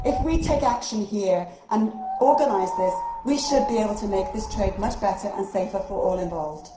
If we take action here and organise this, we should be able to make this trade much better and safer for all involved.